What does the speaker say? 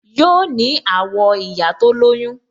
Yoo ní àwọ̀ ìyá tó lóyún